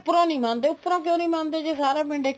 ਉੱਪਰੋ ਨਹੀਂ ਮੰਨਦੇ ਉੱਪਰੋ ਕਿਉ ਨਹੀਂ ਮੰਨਦੇ ਜ਼ੇ ਸਾਰਾ ਪਿੰਡ